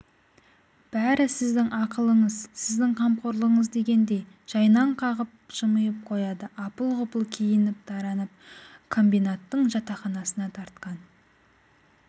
бәрі сіздің ақылыңыз сіздің қамқорлығыңыз дегендей жайнаң қағып жымиып қояды апыл-ғұпыл киініп-таранып комбинаттың жатақханасына тартқан